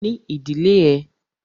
Ní ìdílé ẹ!